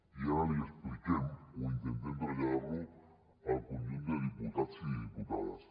i ara l’hi expliquem o intentem traslladar ho al conjunt de diputats i diputades